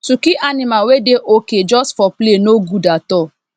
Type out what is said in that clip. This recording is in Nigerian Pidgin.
to kill animal wey dey okay just for play no good at all